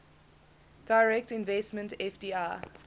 direct investment fdi